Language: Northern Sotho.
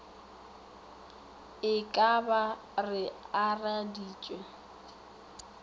e ka ba re akareditše